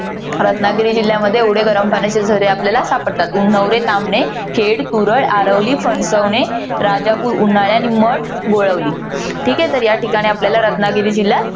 रत्नागिरी जिल्ह्यामध्ये एवढे गरम पाण्याचे झरे आपल्याला सापडतात. उन्हवरे, तामणे, खेड, तुरळ, आरवली, फणसवणे, राजापूर, उन्हाळे, आणि मठ गोळवली. ठीके. तर या ठिकाणी आपल्याला रत्नागिरी जिल्ह्यात